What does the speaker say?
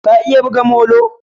ka iya buga molo